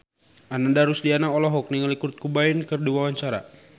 Ananda Rusdiana olohok ningali Kurt Cobain keur diwawancara